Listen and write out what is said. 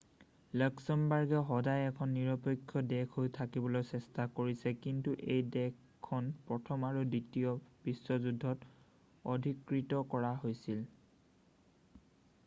লাক্সামবৰ্গে সদায় এখন নিৰপেক্ষ দেশ হৈ থাকিবলৈ চেষ্টা কৰিছে কিন্তু এই দেশখন প্ৰথম আৰু দ্বিতীয় বিশ্বযুদ্ধত অধিকৃত কৰা হৈছিল